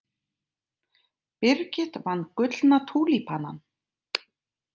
Birgit vann Gullna túlípanann